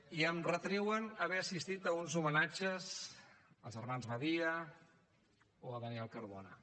i em retreuen haver assistit a uns homenatges als germans badia o a daniel cardona